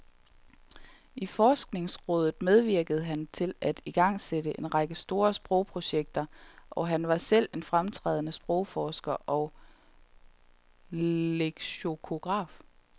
I forskningsrådet medvirkede han til at igangsætte en række store sprogprojekter, og han var selv en fremtrædende sprogforsker og leksikograf.